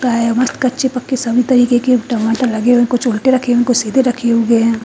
का है मस्त कच्चे पक्के सभी तरीके के टमाटर लगे हुए कुछ उल्टे रखे हुए कुछ सीधे रखे हुए हैं।